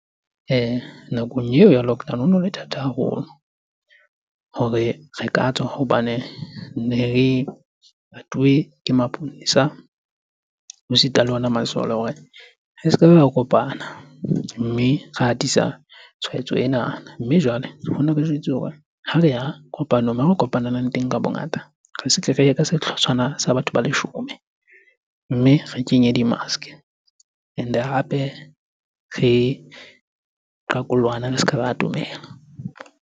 Nakong eo ya lockdown hono le thata haholo hore re ka tswa. Hobane ne patuwe ke maponesa ho sita le ona masole hore re se kebe ra kopana mme ra atisa tshwaetso enana. Mme jwale jwetsuwa hore ha reya kopanong moo re kopanelang teng ka bongata, re se tle reye ka sehlotshwana sa batho ba leshome. Mme re kenye di-mask-e and-e hape re qaqollohane, re ska ba atomela.